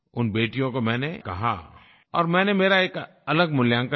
उन बेटियों को मैंने कहा और मैंने मेरा एक अलग मूल्यांकन दिया